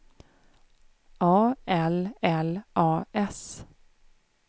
A L L A S